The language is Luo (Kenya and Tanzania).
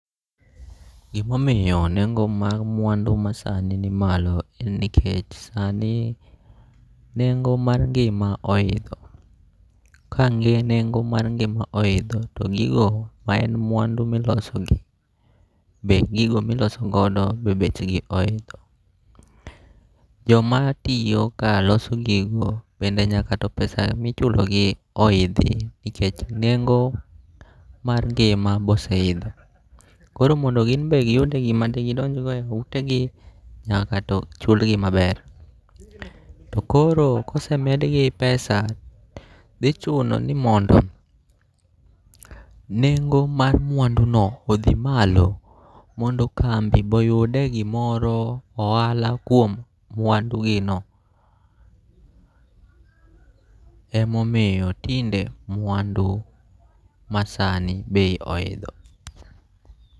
Gimomiyo nengo' mar mwandu masani nimalo en ni nikech sani nengo' mar ngima oidho, ka ne nengo mar ngi'ma oitho to gigo ma en mwandu milosogi be gigo mi iloso godo be bechgi oidho, jomatiyo ka loso gigo bende nyaka to pesa michulogi oithi, nikech nengo mar ngima be oseitho, koro mando gimbe giyud gima ne gi donjgo e utegi nyakato ochulgi maber, to koro ka osemedgi pesa dhichuno ni mondo nengo' mar mwanduno othi malo mondo kambi bo oyudie gimoro ohala kuom mwandugino emomiyo tinde mwandu masani bei oidho.